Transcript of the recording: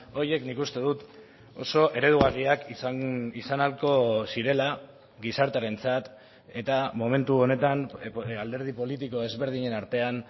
horiek nik uste dut oso eredugarriak izan ahalko zirela gizartearentzat eta momentu honetan alderdi politiko ezberdinen artean